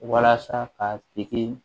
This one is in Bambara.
Walasa k'a tigi